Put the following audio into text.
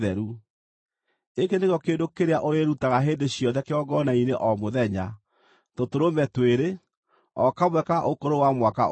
“Gĩkĩ nĩkĩo kĩndũ kĩrĩa ũrĩĩrutaga hĩndĩ ciothe kĩgongona-inĩ o mũthenya: tũtũrũme twĩrĩ, o kamwe ka ũkũrũ wa mwaka ũmwe.